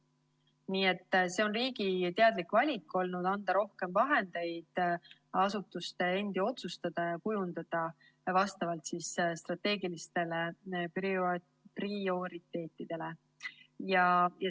Nii et see on olnud riigi teadlik valik, anda rohkem vahendeid asutuste enda otsustada vastavalt strateegilistele prioriteetidele.